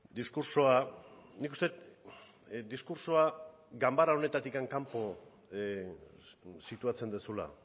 diskurtsoa nik uste dut diskurtsoa ganbara honetatik kanpo situatzen duzula